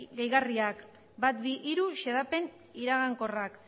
gehigarriak lehenengo bigarren eta hirugarren xedapen iragankorrak